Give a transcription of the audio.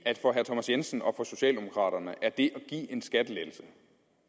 at for herre thomas jensen og socialdemokraterne er det at en skattelettelse